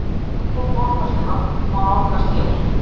Dagbók borgarstjóra má nálgast hér